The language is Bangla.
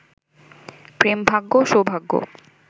প্রেমভাগ্য সৌভাগ্য